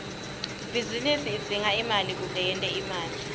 ibhizinisi idzinga imali kute yente imali